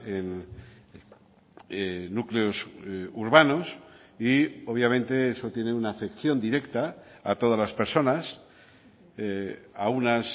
en núcleos urbanos y obviamente eso tiene una afección directa a todas las personas a unas